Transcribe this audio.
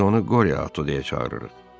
Biz onu Qorio ata deyə çağırırıq.